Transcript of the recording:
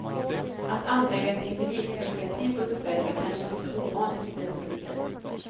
Att anlägga ett individperspektiv på sig själv, är kanske inte så ovanligt i dessa tider.